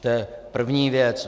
To je první věc.